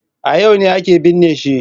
A yau ne ake binne shi.